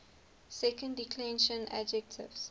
second declension adjectives